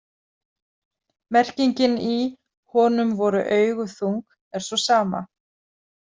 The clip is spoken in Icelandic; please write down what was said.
Merkingin í „honum voru augu þung“ er sú sama.